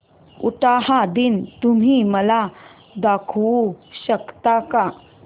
उटाहा दिन तुम्ही मला दाखवू शकता का